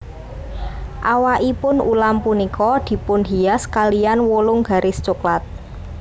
Awakipun ulam punika dipunhias kaliyan wolung garis coklat